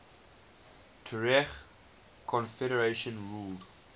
tuareg confederations ruled